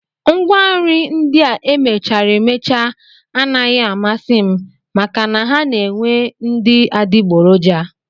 Ngwanri ndị a e mechara emecha anaghị amasị m maka na ha na-enwe ndị adigboroja